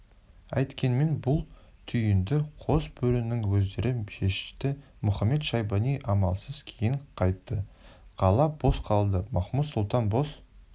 әйткенмен бұл түйінді қос бөрінің өздері шешті мұхамед-шайбани амалсыз кейін қайтты қала бос қалды махмуд-сұлтан бос